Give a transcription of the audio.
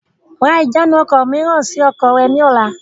Ra ìjánu ọkọ̀ mìíràn sì ọkọ̀ rẹ ni ọ̀la!